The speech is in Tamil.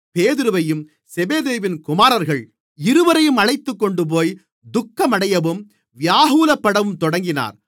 பேதுருவையும் செபெதேயுவின் குமாரர்கள் இருவரையும் அழைத்துக்கொண்டுபோய் துக்கமடையவும் வியாகுலப்படவும் தொடங்கினார்